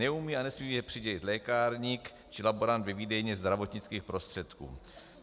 Neumí a nesmí je přidělit lékárník či laborant ve výdejně zdravotnických prostředků.